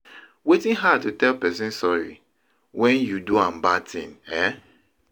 Wetin hard to tell person sorry when you do am bad thing, eh?